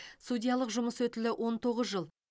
судьялық жұмыс өтілі он тоғыз жыл